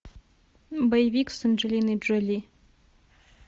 боевик с анджелиной джоли